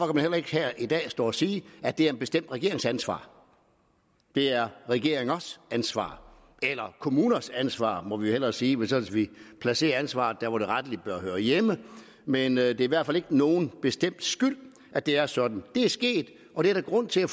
man heller ikke her i dag stå og sige at det er en bestemt regerings ansvar det er regeringers ansvar eller kommuners ansvar må vi jo hellere sige så vi placerer ansvaret hvor det rettelig hører hjemme men det er i hvert fald ikke nogen bestemts skyld at det er sådan det er sket og det er der grund til at